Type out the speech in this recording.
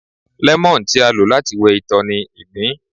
lẹmọọn, ti a lo lati wẹ itọ ni igbin.